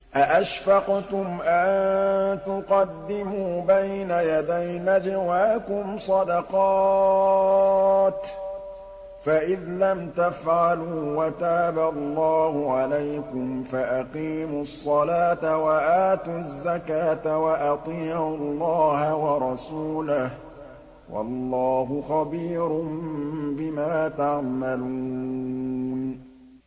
أَأَشْفَقْتُمْ أَن تُقَدِّمُوا بَيْنَ يَدَيْ نَجْوَاكُمْ صَدَقَاتٍ ۚ فَإِذْ لَمْ تَفْعَلُوا وَتَابَ اللَّهُ عَلَيْكُمْ فَأَقِيمُوا الصَّلَاةَ وَآتُوا الزَّكَاةَ وَأَطِيعُوا اللَّهَ وَرَسُولَهُ ۚ وَاللَّهُ خَبِيرٌ بِمَا تَعْمَلُونَ